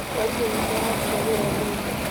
Mwarimũ witũ aratiga wĩra ũmũthĩ